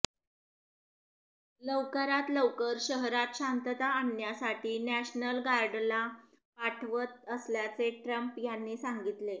लवकरात लवकर शहरात शांतता आणण्यासाठी नॅशनल गार्डला पाठवत असल्याचे ट्रम्प यांनी सांगितले